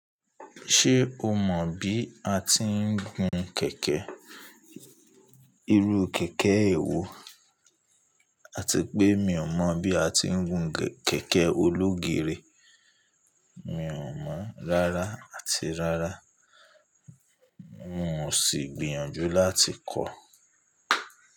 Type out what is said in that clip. Ṣé o mọ̀ bí a ti ń gun kẹ̀kẹ́? Irú kẹ̀kẹ́ ewo? A ti wipé mi ò mọ̀ bí a ti ń gun kẹ̀kẹ́ ológeere. Mi ò mọ̀ rárá àti rárá. N ò sì gbìyànjú láti kọ̀